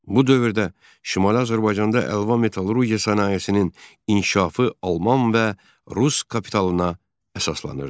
Bu dövrdə Şimali Azərbaycanda əlva metallurgiya sənayesinin inkişafı Alman və Rus kapitalına əsaslanırdı.